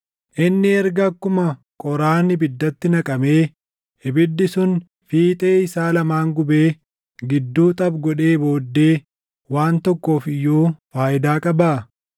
Inni erga akkuma qoraan ibiddatti naqamee ibiddi sun fiixee isaa lamaan gubee gidduu xaphi godhee booddee waan tokkoof iyyuu faayidaa qabaa?